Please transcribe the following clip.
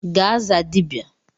Gaa zaa dibia!